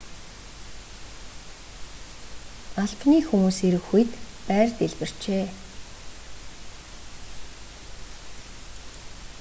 албаны хүмүүс ирэх үед байр дэлбэрчээ